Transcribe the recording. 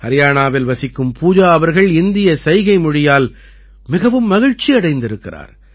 ஹரியாணாவில் வசிக்கும் பூஜா அவர்கள் இந்திய சைகைமொழியால் மிகவும் மகிழ்ச்சியடைந்திருக்கிறார்